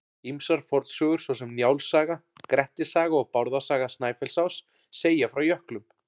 Ýmsar fornsögur svo sem Njáls saga, Grettis saga og Bárðar saga Snæfellsáss segja frá jöklum.